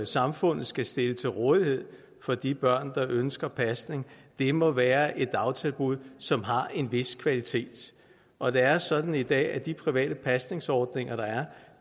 samfundet skal stille til rådighed for de børn der ønskes pasning til må være et dagtilbud som har en vis kvalitet og det er sådan i dag at de private pasningsordninger der er